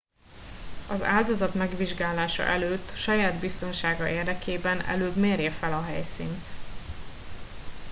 az áldozat megvizsgálása előtt saját biztonsága érdekében előbb mérje fel a helyszínt